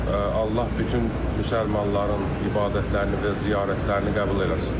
Allah bütün müsəlmanların ibadətlərini və ziyarətlərini qəbul eləsin.